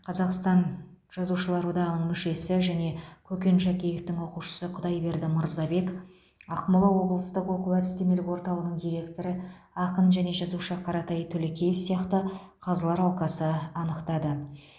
қазақстан жазушылар одағының мүшесі және көкен шәкеевтің оқушысы құдайберді мырзабек ақмола облыстық оқу әдістемелік орталығының директоры ақын және жазушы қаратай төлекеев сияқты қазылар алқасы анықтады